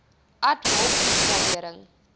ad hoc opgradering